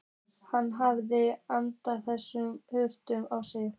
Hann hafði aldeilis hlaupið á sig.